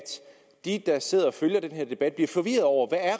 de der sidder og følger den her debat bliver forvirrede over